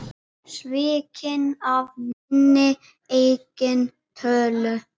Svikinn af minni eigin tölu.